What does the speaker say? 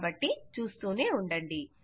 కాబట్టి చూస్తూనే ఉండండి